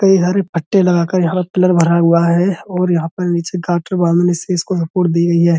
कई घर पट्टे लगाकर यहां का पिलर भरा हुआ है और यहां पर बालू में से इसको सपोर्ट दी गई है।